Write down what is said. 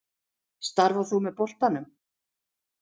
Starfar þú með boltanum?